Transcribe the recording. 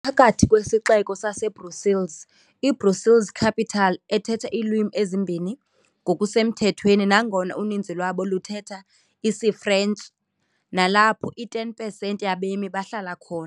phakathi kwesixeko saseBrussels, iBrussels-Capital, ethetha iilwimi ezimbini ngokusemthethweni nangona uninzi lwabo luthetha isiFrentshi, nalapho i-10 pesenti yabemi bahlala khona.